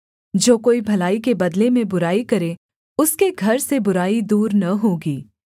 जो कोई भलाई के बदले में बुराई करे उसके घर से बुराई दूर न होगी